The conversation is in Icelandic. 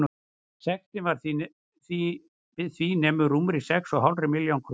Sektin við því nemur rúmri sex og hálfri milljón króna.